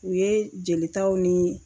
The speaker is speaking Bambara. U ye jelitaw ni